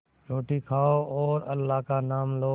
रोटी खाओ और अल्लाह का नाम लो